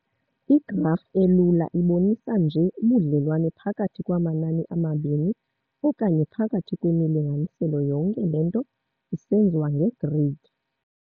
Igraf elula ibonisa nje ubudlellwane phakathi kwamanani amabini okanye phakathi kwemilinganiselo yonke le nto isenziwa ngegrid.